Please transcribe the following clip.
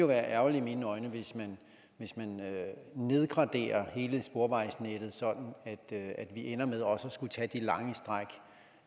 være ærgerligt hvis man nedgraderer hele sporvejsnettet sådan at vi ender med også at skulle tage de lange stræk